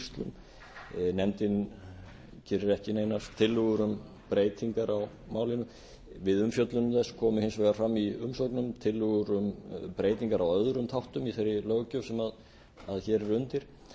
veiðiskýrslum nefndin gerir ekki nejanr tillögur um breytingar á málinu við umfjöllun þess komi hins vegar fram í umsögnum tillögur um breytingar á öðrum þáttum í þeirri löggjöf sem hér er undir